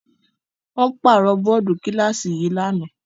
Wọ́n pàrọ̀ bọ́ọ́dù kíláàsì yìí lánàá.